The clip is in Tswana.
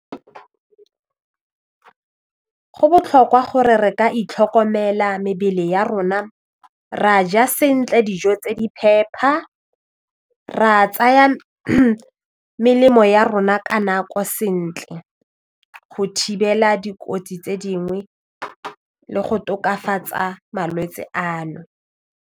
Go botlhokwa gore re ka itlhokomela mebele ya rona re a ja sentle dijo tse di phepa, ra tsaya melemo ya rona ka nako sentle go thibela dikotsi tse dingwe le go tokafatsa malwetse ano.